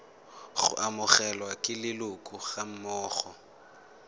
go amogelwa ke leloko gammogo